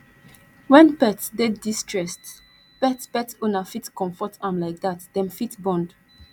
when pets dey distressed pet pet owner fit comfort am like dat dem fit bond